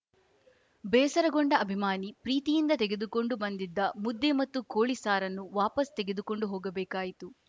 ಬೇಸರಗೊಂಡ ಅಭಿಮಾನಿ ಪ್ರೀತಿಯಿಂದ ತೆಗೆದುಕೊಂಡು ಬಂದಿದ್ದ ಮುದ್ದೆ ಮತ್ತು ಕೋಳಿ ಸಾರನ್ನು ವಾಪಸ್‌ ತೆಗೆದುಕೊಂಡು ಹೋಗಬೇಕಾಯಿತು